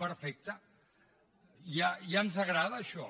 perfecte ja ens agrada això